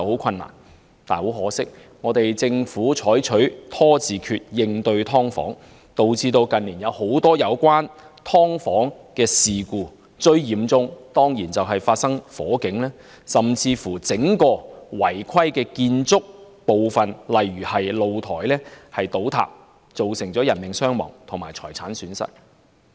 很可惜，政府採取"拖字訣"應對"劏房"問題，導致近年發生很多涉及"劏房"的事故，最嚴重的當然是發生火警，甚至整個違規建築部分倒塌，造成人命傷亡和財產損失。